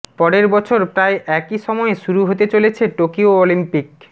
পরের বছর প্রায় একইসময়ে শুরু হতে চলছে টোকিও অলিম্পিক